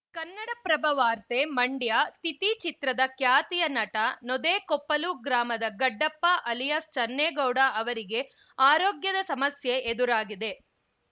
ಕನ್ನಡಪ್ರಭ ವಾರ್ತೆ ಮಂಡ್ಯ ತಿಥಿ ಚಿತ್ರದ ಖ್ಯಾತಿಯ ನಟ ನೊದೆಕೊಪ್ಪಲು ಗ್ರಾಮದ ಗಡ್ಡಪ್ಪ ಅಲಿಯಾಸ್‌ ಚನ್ನೇಗೌಡ ಅವರಿಗೆ ಅರೋಗ್ಯದ ಸಮಸ್ಯೆ ಎದುರಾಗಿದೆ